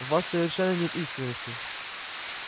в вас совершенно нет искренности